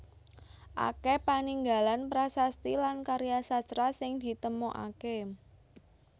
Akèh paninggalan prasasti lan karya sastra sing ditemokaké